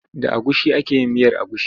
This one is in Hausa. Da agushi ake yin miyar agushi.